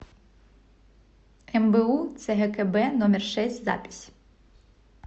мбу цгкб номер шесть запись